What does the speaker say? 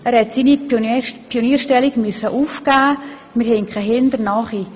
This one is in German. Er musste seine Pionierstellung aufgeben und wir hinken hinterher.